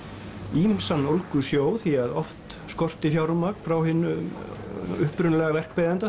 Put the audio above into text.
ýmsan ólgusjó því að oft skorti fjármagn frá hinum upprunalega